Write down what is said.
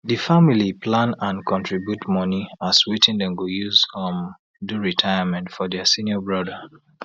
di family plan and contribute money as wetin dem go use um do retirement for dia senior brother